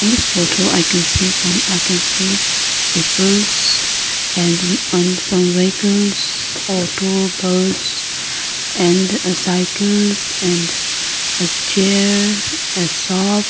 in this photo i can see some i can see peoples and and some vehicles or two bus and cycles and a chair a shop--